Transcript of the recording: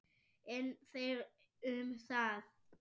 En þeir um það!